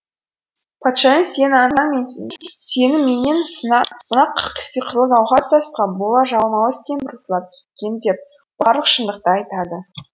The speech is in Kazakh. патшайым сенің анаң мен сені менен мына сиқырлы гауһар тасқа бола жалмауыз кемпір ұрлап кеткен деп барлық шындықты айтады